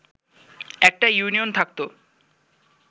একটা ইউনিয়ন থাকতো